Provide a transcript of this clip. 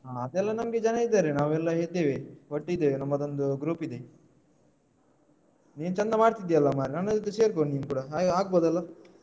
ಹಾ ಅದೆಲ್ಲ ನಮ್ಗೆ ಜನ ಇದ್ದಾರೆ ನಾವೆಲ್ಲ ಇದ್ದೇವೆ ಒಟ್ಟಿದ್ದೇವೆ ನಮ್ಮದೊಂದು group ಇದೆ ನೀನ್ ಚಂದ ಮಾಡ್ತಿದ್ಯಲ್ಲ ಮಾರೆ ನನ್ ಜೊತೆ ಸೇರ್ಕೊ ನೀನ್ ಕೂಡ ಹಾಗೆ ಆಗ್ಬೋದಲ್ಲ.